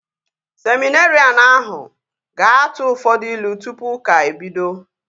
Seminerịan ahụ ga-atụ ụfọdụ ilu tụpụ ụka ebido